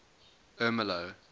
ermelo